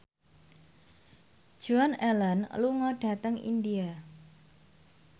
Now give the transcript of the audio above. Joan Allen lunga dhateng India